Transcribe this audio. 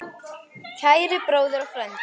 Kæri bróðir og frændi.